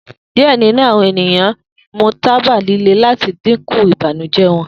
Diẹ ninu awọn eniyan mu taba lile lati dinku ibanujẹ wọn